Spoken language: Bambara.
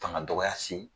Fanga dɔgɔya se